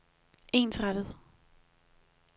ensrettet